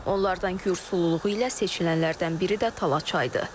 Onlardan gür sululuğu ilə seçilənlərdən biri də Tala çayıdır.